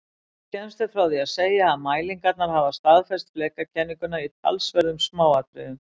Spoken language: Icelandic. Skemmst er frá því að segja að mælingarnar hafa staðfest flekakenninguna í talsverðum smáatriðum.